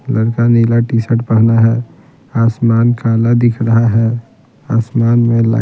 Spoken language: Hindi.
लड़का नीला टी-शर्ट पहना है आसमान काला दिख रहा है आसमान में --